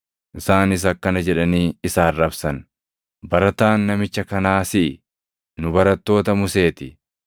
Isaanis akkana jedhanii isa arrabsan; “Barataan namicha kanaa siʼi! Nu barattoota Musee ti!